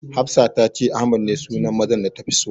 Hafsat ta ce Ahmad ne sunan mazan da tafi so.